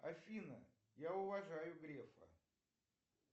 афина я уважаю грефа